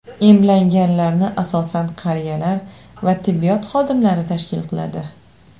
Emlanganlarni asosan qariyalar va tibbiyot xodimlari tashkil qiladi.